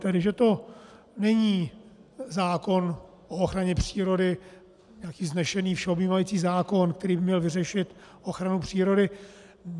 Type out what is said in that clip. Tedy že to není zákon o ochraně přírody, nějaký vznešený, všeobjímající zákon, který by měl vyřešit ochranu přírody.